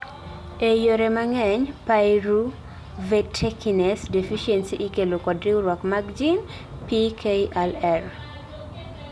Eei Yore mang'eny, pyruvatekinase deficiency ikelo kod riwruok mar gene PKLR